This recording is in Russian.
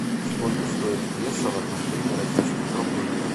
сколько стоит песо в отношении российских рублей